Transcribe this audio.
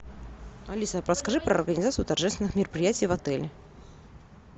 алиса подскажи про организацию торжественных мероприятий в отеле